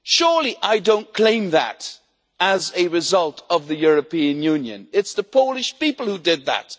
Surely I do not claim that as a result of the European Union it is the Polish people who did that.